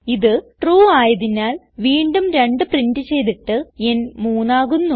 ഇത് ട്രൂ ആയതിനാൽ വീണ്ടും 2 പ്രിന്റ് ചെയ്തിട്ട് ന് 3 ആകുന്നു